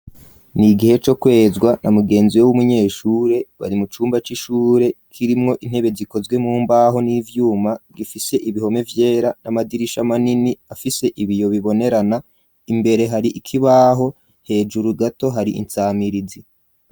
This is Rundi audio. Ni igihe co kwezwa na mugenziwe w'umunyeshure bari mu cumba c'ishure kirimwo intebe zikozwe mu mbaho n'ivyuma bgifise ibihome vyera n'amadirisha manini afise ibiyo bibonerana, imbere hari ikibaho hejuru gato hari insamirizi.